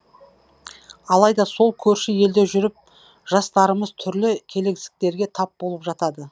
алайда сол көрші елде жүріп жастарымыз түрлі келеңсіздіктерге тап болып жатады